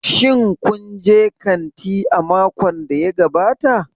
Shin kun je kanti a makon da ya gabata?